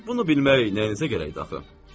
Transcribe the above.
Bunu bilmək nəyinizə gərəkdir axı?